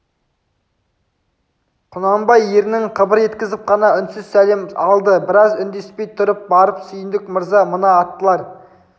құнанбай ернін қыбыр еткізіп қана үнсіз сәлем алды біраз үндеспей тұрып барып сүйіндік мырза мына аттылар